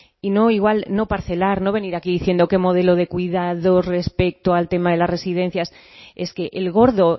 y no igual no parcelar no venir aquí diciendo qué modelo de cuidados respecto al tema de las residencias es que el gordo